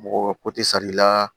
Mɔgɔ ko tɛ sari la